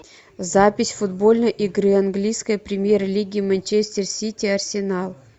запись футбольной игры английской премьер лиги манчестер сити арсенал